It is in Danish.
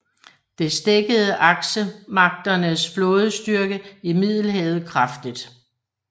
Det stækkede aksemagternes flådestyrke i Middelhavet kraftigt